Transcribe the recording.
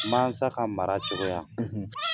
Mansa ka mara cogoya